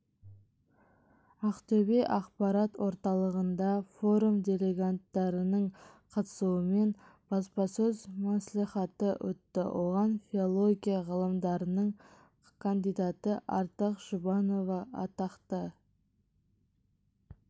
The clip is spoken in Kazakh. ақтөбе ақпарат орталығында форум делегаттарының қатысуымен баспасөз мәслихаты өтті оған филология ғылымдарының кандидаты ардақ жұбанова атақты